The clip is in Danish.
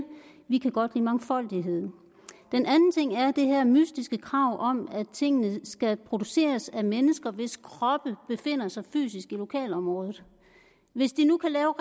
vi kan godt lide mangfoldighed den anden ting er det her mystiske krav om at tingene skal produceres af mennesker hvis kroppe befinder sig fysisk i lokalområdet hvis de nu kan lave